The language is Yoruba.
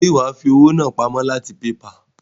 Ṣe wàá fi owó náà pamó láti PayPal?